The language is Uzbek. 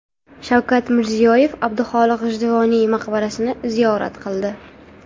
Shavkat Mirziyoyev Abduxoliq G‘ijduvoniy maqbarasini ziyorat qildi.